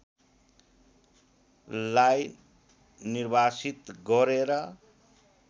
लाई निर्वासित गरेर